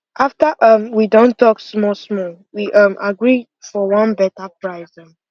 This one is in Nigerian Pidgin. after um we don talk small small we um gree for one better price